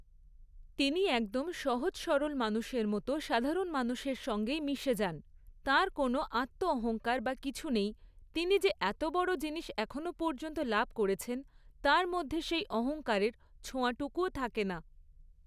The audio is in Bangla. তিনি একদম সহজ সরল মানুষের মতো সাধারণ মানুষের সঙ্গেই মিশে যান। তাঁর কোনো আত্ম অহংকার বা কিছু নেই তিনি যে এত বড়ো জিনিস এখনও পর্যন্ত লাভ করেছেন, তাঁর মধ্যে সেই অহংকারের ছোঁয়াটুকুও থাকে না।